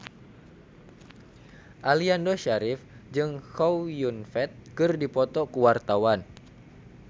Aliando Syarif jeung Chow Yun Fat keur dipoto ku wartawan